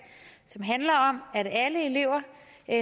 som handler om at alle elever